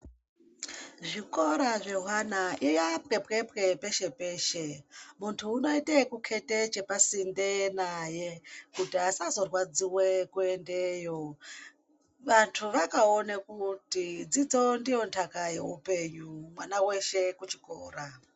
Zvikora zvewana yaa pwepwepwe peshe peshe, muntu unoita yekuketa chepa sinde naye kuti asazorwadziwa kuendeyo, vantu vakaona kuti dzidzo ndiyo ndaka youpenyu mwana weshe kuchikora.